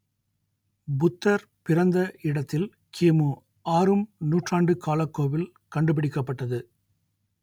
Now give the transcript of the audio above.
புத்தர் பிறந்த இடத்தில் கிமு ஆறும் நூற்றாண்டு காலக் கோவில் கண்டுபிடிக்கப்பட்டது